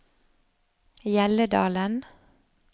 Hjelledalen